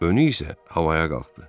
Önü isə havaya qalxdı.